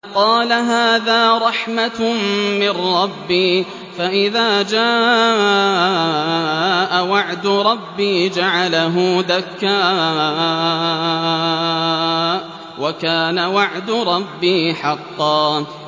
قَالَ هَٰذَا رَحْمَةٌ مِّن رَّبِّي ۖ فَإِذَا جَاءَ وَعْدُ رَبِّي جَعَلَهُ دَكَّاءَ ۖ وَكَانَ وَعْدُ رَبِّي حَقًّا